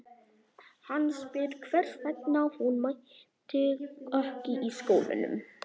Hann spyr hvers vegna hún mæti ekki í skólanum.